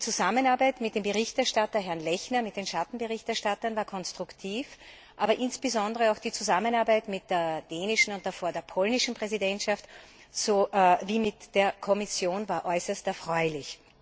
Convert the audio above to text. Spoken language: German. Die Zusammenarbeit mit dem Berichterstatter Lechner und mit den Schattenberichterstattern war konstruktiv, und insbesondere auch die Zusammenarbeit mit der dänischen und davor der polnischen Präsidentschaft sowie mit der Kommission war äußerst erfreulich.